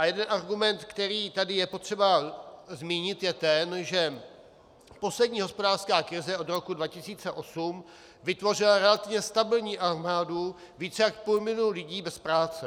A jeden argument, který tady je potřeba zmínit, je ten, že poslední hospodářská krize od roku 2008 vytvořila relativně stabilní armády více jak půl milionu lidí bez práce.